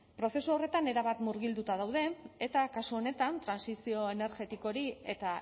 prozesu horretan erabat murgilduta gaude eta kasu honetan trantsizio energetiko hori eta